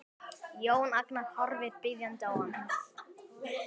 Jón Agnar horfir biðjandi á hann.